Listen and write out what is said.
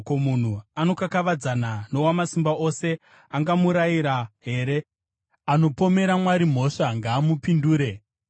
“Ko, munhu anokakavadzana noWamasimba Ose angamurayira here? Anopomera Mwari mhosva ngaamupindure!”